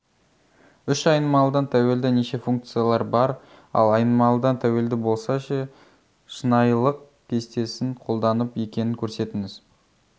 үш айнымалыдан тәуелді неше функциялар бар ал айнымалыдан тәуелді болса ше шынайылық кестесін қолданып екенін көрсетіңіз